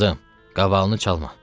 Qızım, qavalıını çalma.